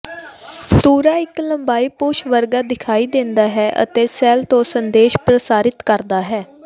ਧੁਰਾ ਇਕ ਲੰਬੀ ਪੂਛ ਵਰਗਾ ਦਿਖਾਈ ਦਿੰਦਾ ਹੈ ਅਤੇ ਸੈੱਲ ਤੋਂ ਸੰਦੇਸ਼ ਪ੍ਰਸਾਰਿਤ ਕਰਦਾ ਹੈ